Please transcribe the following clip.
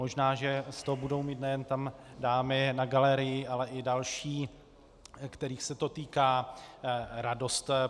Možná že z toho budou mít nejen tam dámy na galerii, ale i další, kterých se to týká, radost.